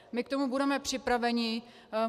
My k tomu budeme připraveni.